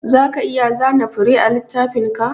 Zaka iya zana fure a littafinka?